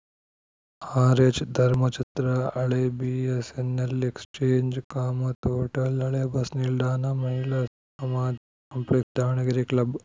ಆರ್‌ಎಚ್‌ಧರ್ಮಛತ್ರ ಹಳೆ BSNL exchange Kamath hotel ಹಳೆ bus ನಿಲ್ದಾಣ ಮಹಿಳಾ ಸಮಾಜ ಕಾಂಪ್ಲೆಕ್ಸ್‌ ದಾವಣಗೆರೆ ಕ್ಲಬ್‌